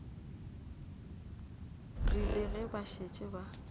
rile ge ba šetše ba